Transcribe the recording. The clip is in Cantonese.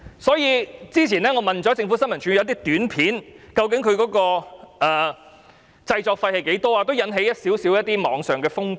我早前曾詢問政府新聞處有關一些短片的製作費用，當時在網上掀起一些小風波。